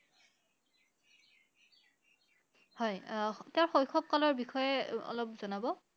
হয় আহ তেওঁৰ শৈশৱ কালৰ বিষয়ে~ অলপ জনাব